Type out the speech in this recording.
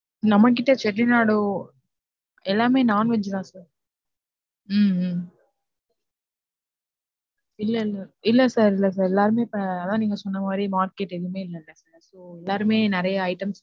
நம்மகிட்ட செட்டிநாடு எல்லாமே non veg தான் sir உம் இல்ல இல்ல, இல்ல sir இல்ல sir எல்லாருமே இப்போஅதான் நீங்க சொன்ன மாதிரி market எதுவுமே இல்ல so எல்லாருமே நிறையா items